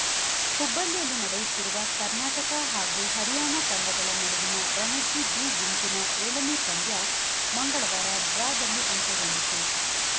ಹುಬ್ಬಳ್ಳಿಯಲ್ಲಿ ನಡೆಯುತ್ತಿರುವ ಕರ್ನಾಟಕ ಹಾಗೂ ಹರಿಯಾಣ ತಂಡಗಳ ನಡುವಿನ ರಣಜಿ ಬಿ ಗುಂಪಿನ ಏಳನೇ ಪಂದ್ಯ ಮಂಗಳವಾರ ಡ್ರಾದಲ್ಲಿ ಅಂತ್ಯಗೊಂಡಿತು